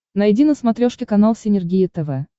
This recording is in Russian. найди на смотрешке канал синергия тв